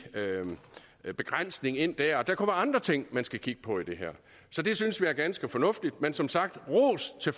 begrænsning ind der og der kommer andre ting man skal kigge på i det her så det synes vi er ganske fornuftigt men som sagt ros til